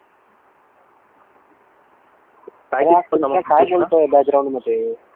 कृष्णा काय बोलतोय बॅकग्राऊंड मध्ये कृष्णा